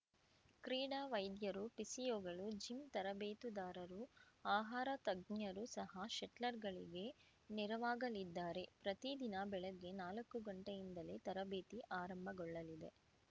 ಕ್ರೀಡಾ ವೈದ್ಯರು ಫಿಸಿಯೋಗಳು ಜಿಮ್‌ ತರಬೇತುದಾರರು ಆಹಾರ ತಜ್ಞರು ಸಹ ಶಟ್ಲರ್‌ಗಳಿಗೆ ನೆರವಾಗಲಿದ್ದಾರೆ ಪ್ರತಿ ದಿನ ಬೆಳಗ್ಗೆ ನಾಲಕ್ಕು ಗಂಟೆಯಿಂದಲೇ ತರಬೇತಿ ಆರಂಭಗೊಳ್ಳಲಿದೆ